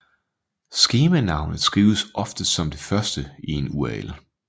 Skemanavnet skrives oftest som det første i en URL